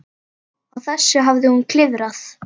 Á þessu hafði hún klifað.